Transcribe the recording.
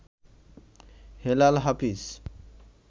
Helal Hafiz